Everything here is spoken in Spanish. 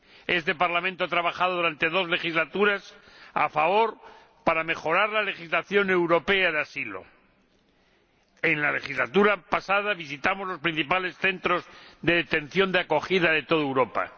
Este Parlamento ha trabajado durante dos legislaturas a fondo para mejorar la legislación europea de asilo. En la legislatura pasada visitamos los principales centros de acogida de toda Europa.